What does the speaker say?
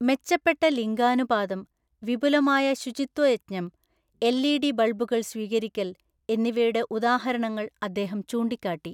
മെച്ചപ്പെട്ട ലിംഗാനുപാതം, വിപുലമായ ശുചിത്വയജ്ഞം, എൽഇഡി ബൾബുകൾ സ്വീകരിക്കൽ എന്നിവയുടെ ഉദാഹരണങ്ങൾ അദ്ദേഹം ചൂണ്ടിക്കാട്ടി.